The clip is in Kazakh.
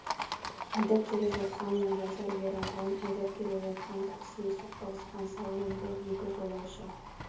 айдап келе жатқан мен жасар ер адам айдап келе жатқан таксиі соқтығысқан салонында екі жолаушы